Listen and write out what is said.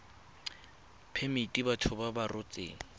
phemiti batho ba ba rotseng